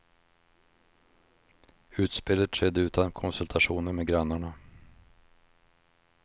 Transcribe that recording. Utspelet skedde utan konsultationer med grannarna.